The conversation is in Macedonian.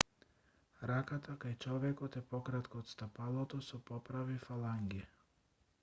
раката кај човекот е пократка од стапалото со поправи фаланги